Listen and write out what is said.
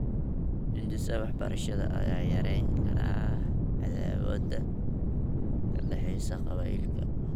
Hindisaha waxbarashada ayaa yarayn kara cadaawadda ka dhaxaysa qabaa'ilka .